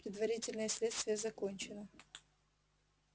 предварительное следствие закончено